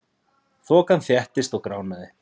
Þokan þéttist og gránaði.